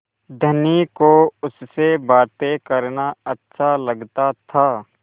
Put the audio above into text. धनी को उससे बातें करना अच्छा लगता था